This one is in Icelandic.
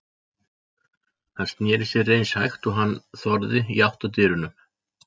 Hann sneri sér eins hægt og hann þorði í áttina að dyrunum.